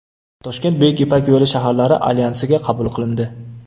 Toshkent Buyuk Ipak yo‘li shaharlari Alyansiga qabul qilindi.